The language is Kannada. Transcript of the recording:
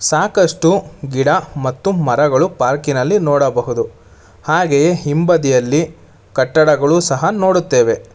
ಸಾಕಷ್ಟು ಗಿಡ ಮತ್ತು ಮರಗಳು ಪಾರ್ಕಿನಲ್ಲಿ ನೋಡಬಹುದು ಹಾಗೆಯೇ ಹಿಂಬದಿಯಲ್ಲಿ ಕಟ್ಟಡಗಳು ಸಹ ನೋಡುತ್ತೇವೆ.